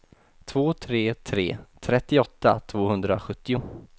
två tre tre tre trettioåtta tvåhundrasjuttio